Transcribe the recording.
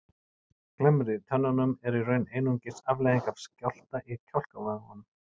Glamrið í tönnunum er í raun einungis afleiðing af skjálfta í kjálkavöðvunum.